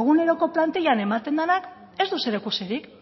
eguneroko plantillan ematen denak ez du zerikusirik